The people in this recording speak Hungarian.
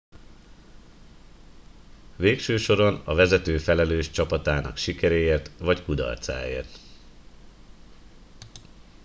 végső soron a vezető felelős csapatának sikeréért vagy kudarcáért